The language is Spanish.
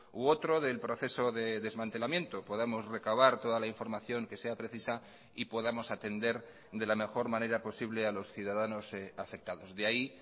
u otro del proceso de desmantelamiento podamos recabar toda la información que sea precisa y podamos atender de la mejor manera posible a los ciudadanos afectados de ahí